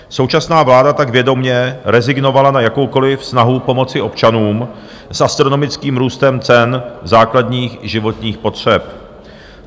Současná vláda tak vědomě rezignovala na jakoukoliv snahu pomoci občanům s astronomickým růstem cen základních životních potřeb.